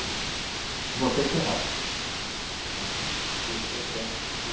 O Você, Terráquias, que é esse processo que você